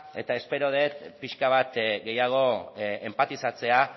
eta espero dut pixka bat gehiago enp atizatzea